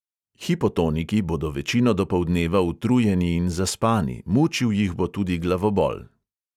Hipotoniki bodo večino dopoldneva utrujeni in zaspani, mučil jih bo tudi glavobol.